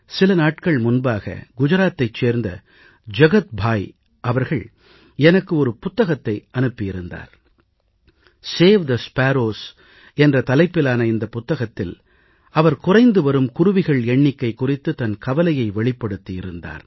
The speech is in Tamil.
சில நாட்கள் முன்பாக குஜராத்தைச் சேர்ந்த ஜகத் பாய் அவர்கள் எனக்கு ஒரு புத்தகத்தை அனுப்பி இருந்தார் சேவ் தே ஸ்பாரோஸ் என்ற தலைப்பிலான இந்தப் புத்தகத்தில் அவர் குறைந்து வரும் குருவிகள் எண்ணிக்கை குறித்துத் தன் கவலையை வெளிப்படுத்தி இருந்தார்